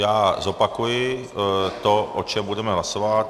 Já zopakuji to, o čem budeme hlasovat.